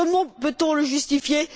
Comment peut on le justifier?